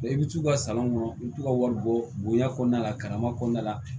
i bɛ t'u ka sanlon kɔnɔ i bɛ t'u ka wari bɔ bonya kɔnɔna la karamɔgɔ la